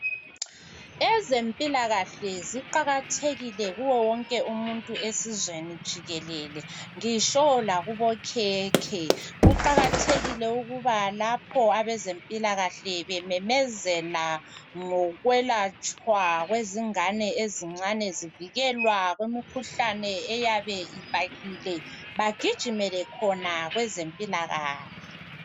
Ezempilakahle ziqakathekile kuwo wonke umuntu ezweni jikelele lakubokhekhe kuqakathekile ukuba lapho abezempilakahle bememezela ngokwelatshwa kwezingane ezincane zivikelwa kumkhuhlane eyabe ibhahile bagijimele khona kwezempilakahle